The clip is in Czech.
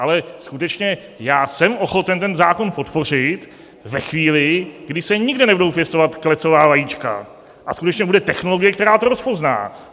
Ale skutečně, já jsem ochoten ten zákon podpořit ve chvíli, kdy se nikde nebudou pěstovat klecová vajíčka a skutečně bude technologie, která to rozpozná.